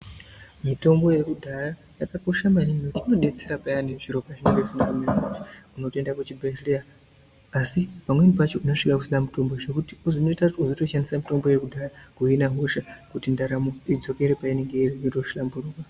Mitombo yekudhaya yakakosha maningi ngokuti inodetsera payani zviro pazvinenge zvisina kumira mushe. Unotoenda kuchibhedhleya asi pamweni pacho unosvika kusina mitombo zvekuti unozoita kuti muntu unotoshandisa mitombo yekudhaya kuhina hosha kuti ndaramo idzokere painenge iri zviro zvotohlamburuka.